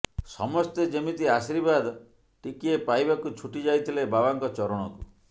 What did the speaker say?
ସମସ୍ତେ ଯେମିତି ଆଶୀର୍ବାଦ ଟିକିଏ ପାଇବାକୁ ଛୁଟି ଯାଇଥିଲେ ବାବାଙ୍କ ଚରଣକୁ